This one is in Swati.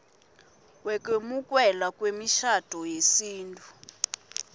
wekwemukelwa kwemishado yesintfu